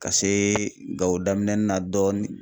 Ka see gawo daminɛni na dɔɔnin